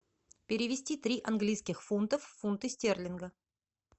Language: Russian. перевести три английских фунтов в фунты стерлинга